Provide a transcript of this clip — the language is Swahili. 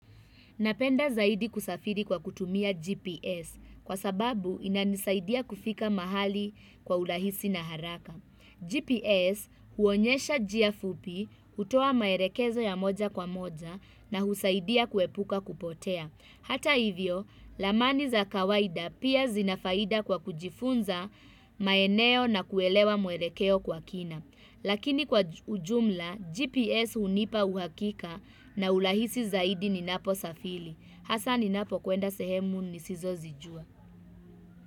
Napenda zaidi kusafiri kwa kutumia GPS kwa sababu inanisaidia kufika mahali kwa urahisi na haraka. GPS huonyesha njia fupi, hutoa maelekezo ya moja kwa moja na husaidia kuepuka kupotea. Hata hivyo, ramani za kawaida pia zina faida kwa kujifunza maeneo na kuelewa mwelekeo kwa kina. Lakini kwa ujumla, GPS hunipa uhakika na urahisi zaidi ninapo safiri. Hasa ni napokuenda sehemu nisizo zijua.